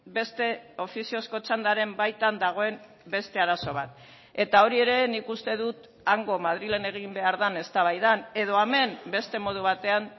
beste ofiziozko txandaren baitan dagoen beste arazo bat eta hori ere nik uste dut hango madrilen egin behar den eztabaidan edo hemen beste modu batean